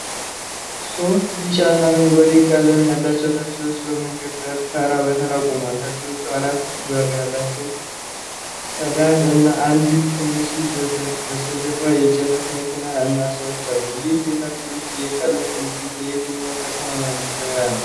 ሶስት ቢጫ እና አረንጓዴ ቀለም ያላቸው ታክሲዎች በመንገድ ዳር ተራ በተራ ቆመዋል። ታክሲዎቹ አራት በር ያላቸው ሰዳን እና አንድ ትንሽ ፣ በስተጀርባ የጭነት መኪና እና ሰዎች አሉ። ይህ የታክሲዎች የቀለም ቅንጅት የየትኛዋን ከተማ መለያ ነው?